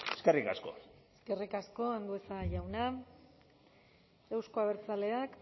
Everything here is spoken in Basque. eskerrik asko eskerrik asko andueza jauna euzko abertzaleak